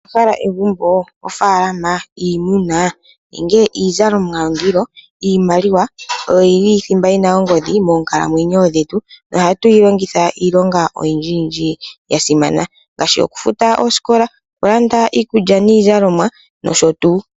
Owahala egumboo, ofaalama, iimuna nenge iizalomwa yondilo? Iimaliwa oyo yili othimba yina ongodhi moonkalamwenyo dhetu, yo oha tu yilongitha iilonga oyindji yasimana, ngaashi okufuta oosikola, okulanda iikulya niizalomwa, nosho tuu.